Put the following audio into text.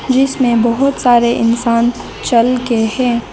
जिसमें बहोत सारे इंसान चलके हैं।